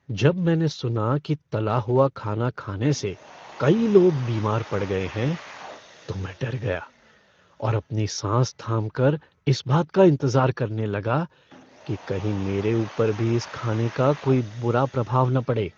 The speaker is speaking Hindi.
जब मैंने सुना कि तला हुआ खाना खाने से कई लोग बीमार पड़ गए हैं तो मैं डर गया और अपनी साँस थाम कर इस बात का इंतजार करने लगा कि कहीं मेरे ऊपर भी इस खाने का कोई बुरा प्रभाव न पड़े।